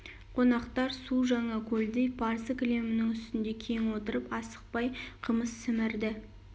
қонақтар су жаңа көлдей парсы кілемінің үстінде кең отырып асықпай қымыз сімірді